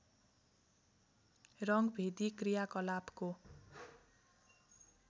रङ्गभेदी क्रियाकलापको